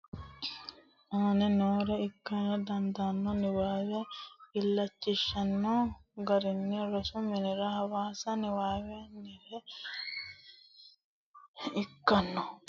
aane noore ikkara dandaanno Niwaawe illachishshanno guulchirenna rosu umire hasaawa Niwaawennire kifilete miilla ledo hasaawa Hasaawaho ikkanno qaagiishsha amada Qaalu shiqishsha assa Guulchu woy rosu umi kaiminni dhagge kiironna diraama godo.